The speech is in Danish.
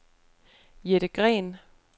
Jette Green